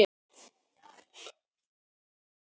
Ég veit það og hann veit það.